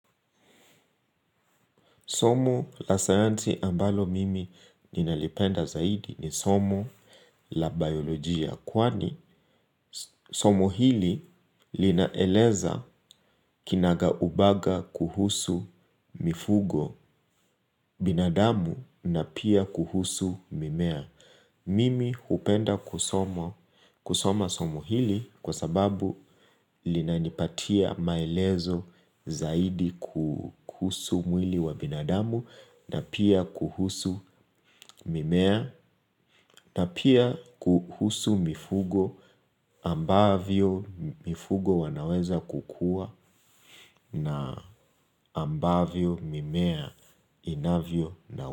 Somo la sayansi ambalo mimi ninalipenda zaidi ni somo la biolojia. Kwani somo hili linaeleza kinaga ubaga kuhusu mifugo binadamu na pia kuhusu mimea. Mimi upenda kusoma somo hili kwa sababu linanipatia maelezo zaidi kuhusu mwili wa binadamu na pia kuhusu mimea na pia kuhusu mifugo ambavyo mifugo wanaweza kukua na ambavyo mimea inavyo na.